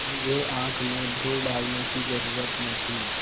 मुझे आँख में धूल डालने की जरुरत न थी